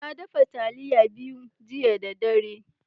Na daffa talliya biyu jiya da dare.